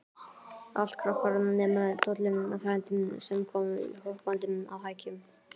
Allt krakkar, nema Tolli frændi, sem kom hoppandi á hækjunum.